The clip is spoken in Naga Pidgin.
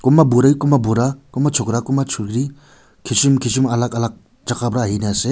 kunba buri kunba bura kunba chokara kunba chokeri kissem kissem alag alag jagah para ahe kina ase.